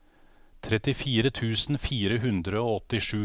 trettifire tusen fire hundre og åttisju